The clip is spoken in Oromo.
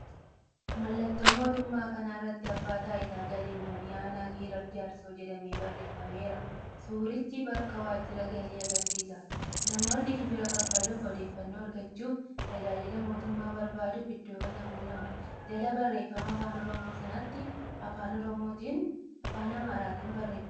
Mallattoo mootummaa kana irratti “Abbaa Taayitaa Galiwwanii Anaa Giraar Jaarsoo” jedhamee barreeffameera. Suurichi bakka waajjira galii agarsiisa. Namoonni gibira kaffaluuf, odeeffannoo argachuuf, tajaajila mootummaa barbaaduuf iddoo kana quunnamu. Jala barreeffama afaan oromoo sanaatti afaan amaaraatiin barreeffamee jira.